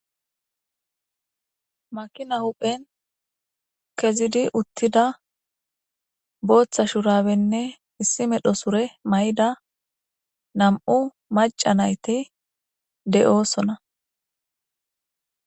makina huphphen kezidi uttida booththa shurabenne issi medhdho sure mayida nam''u maca nayiti de7oosona.